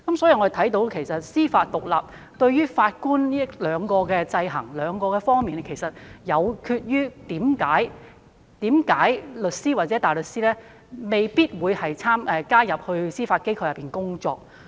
由此可見，司法獨立對於法官在這兩方面的制衡，其實亦導致了為何律師或大律師未必願意加入司法機構工作。